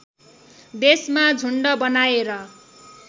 देशमा झुन्ड बनाएर